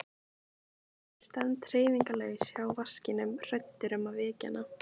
Ég stend hreyfingarlaus hjá vaskinum hræddur um að vekja hana.